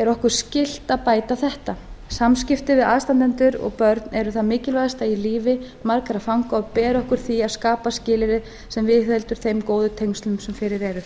er okkur skylt að bæta þetta samskipti við aðstandendur og börn eru það mikilvægasta í lífi margra fanga og ber okkur því að skapa skilyrði sem viðheldur þeim góðu tengslum sem fyrir eru